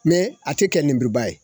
a te kɛ nemuruba ye